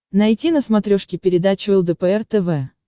найти на смотрешке передачу лдпр тв